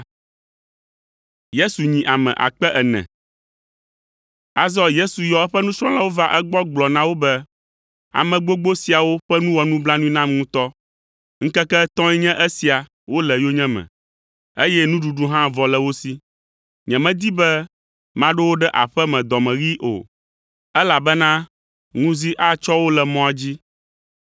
Azɔ Yesu yɔ eƒe nusrɔ̃lawo va egbɔ gblɔ na wo be, “Ame gbogbo siawo ƒe nu wɔ nublanui nam ŋutɔ. Ŋkeke etɔ̃e nye esia wole yonyeme, eye nuɖuɖu hã vɔ le wo si. Nyemedi be maɖo wo ɖe aƒe me dɔmeɣii o, elabena ŋuzi atsɔ wo le mɔa dzi.”